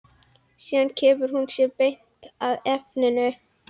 Síðan kemur hún sér beint að efninu.